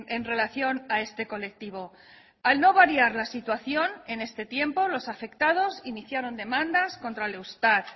en relación a este colectivo al no variar la situación en este tiempo los afectados iniciaron demandas contra el eustat